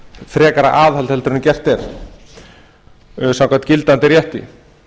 frekara aðhald frekar heldur en gert er samkvæmt gildandi rétti